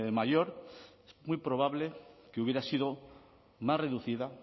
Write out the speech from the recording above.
mayor es muy probable que hubiera sido más reducida